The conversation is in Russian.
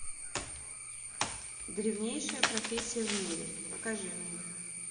древнейшая профессия в мире покажи мне